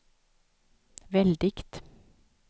väldigt